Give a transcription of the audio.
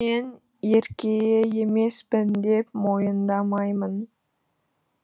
мен ерке емеспін деп мойындамаймын